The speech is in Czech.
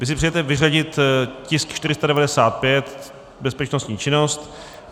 Vy si přejete vyřadit tisk 495 - bezpečnostní činnost.